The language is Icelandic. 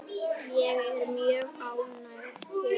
Ég er mjög ánægð hér.